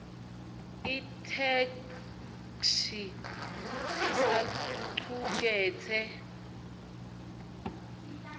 itheksthi isacuketse